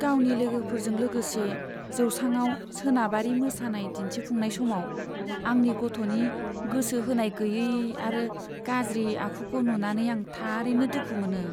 गावनि लोगोफोरजों लोगोसे जौसाङाव सोनाबारि मोसानाय दिन्थिफुंनाय समाव आंनि गथ'नि गोसो होनाय गैयै आरो गाज्रि आखुखौ नुनानै आं थारैनो दुखु मोनो।